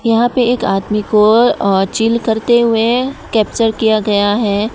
यहां पे एक आदमी को और चिल करते हुए कैप्चर किया गया है।